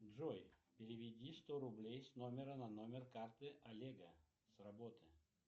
джой переведи сто рублей с номера на номер карты олега с работы